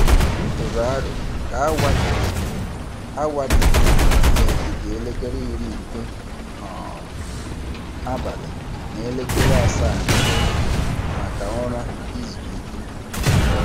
M tụrụ aro ka awa dị jụụ awa dị jụụ n'etiti elekere iri nke um abali na elekere asaa nke ụtụtụ maka ụra izu ike.